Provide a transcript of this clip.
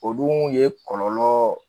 O dun ye kɔlɔlɔ